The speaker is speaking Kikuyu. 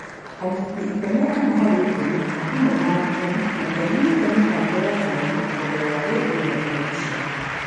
anyiti iteme ana harĩ ikũmi, o hamwe na arutani, matiamenyete mĩbango ya gũthoma kũgerera rendio na terebiceni.